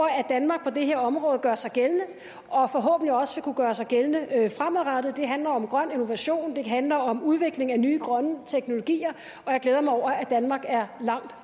at danmark på det her område gør sig gældende og forhåbentlig også vil kunne gøre sig gældende fremadrettet det handler om grøn innovation det handler om udvikling af nye grønne teknologier og jeg glæder mig over at danmark er langt